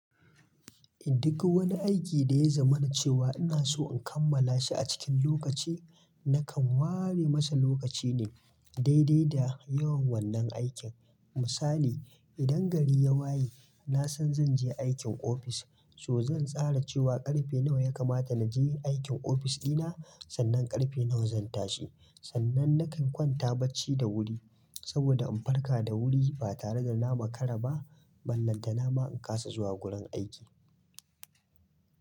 Duk wani aiki da ya zaman cewa ina so in kammala shi a cikin lokaci, nakan ware masa lokaci ne daidai da yawan wannan aikin. Misali idan gari ya waye, na san zan je aikin ofis, to zan tsara cewa ƙarfe nawa ya kamata na je aikin ofis ɗina, sannan ƙarfe nawa zan tashi. Sannan nakan kwanta bacci da wuri saboda in farka da wuri ba tare da na makara ba, ballantana ma in kasa zuwa wurin aiki.